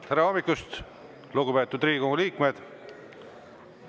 Tere hommikust, lugupeetud Riigikogu liikmed!